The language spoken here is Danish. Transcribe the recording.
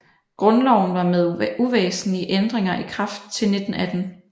Grundloven var med uvæsentlige ændringer i kraft til 1918